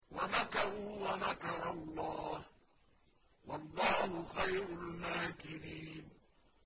وَمَكَرُوا وَمَكَرَ اللَّهُ ۖ وَاللَّهُ خَيْرُ الْمَاكِرِينَ